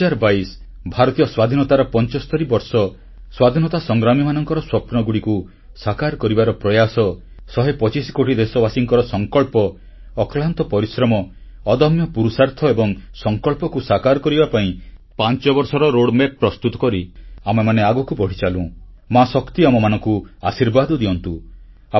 ଦୁଇ ହଜାର ବାଇଶ ଭାରତୀୟ ସ୍ୱାଧୀନତାର 75 ବର୍ଷ ସ୍ୱାଧୀନତା ସଂଗ୍ରାମୀମାନଙ୍କର ସ୍ୱପ୍ନଗୁଡ଼ିକୁ ସାକାର କରିବାର ପ୍ରୟାସ ଶହେ ପଚିଶ କୋଟି ଦେଶବାସୀଙ୍କର ସଂକଳ୍ପ ଅକ୍ଳାନ୍ତ ପରିଶ୍ରମ ଅଦମ୍ୟ ପୁରୁଷାର୍ଥ ଏବଂ ସଂକଳ୍ପକୁ ସାକାର କରିବା ପାଇଁ ପାଞ୍ଚବର୍ଷର ମାର୍ଗଚିତ୍ର ବା ରୋଡମ୍ୟାପ୍ ପ୍ରସ୍ତୁତ କରି ଆମେମାନେ ଆଗକୁ ବଢ଼ିଚାଲୁ ମା ଶକ୍ତି ଆମମାନଙ୍କୁ ଆଶୀର୍ବାଦ ଦିଅନ୍ତୁ